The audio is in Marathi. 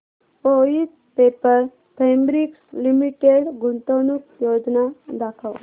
वोइथ पेपर फैब्रिक्स लिमिटेड गुंतवणूक योजना दाखव